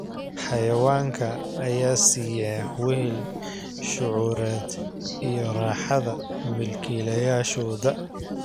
Xayawaanka ayaa siiya wehel shucuureed iyo raaxada milkiilayaashooda.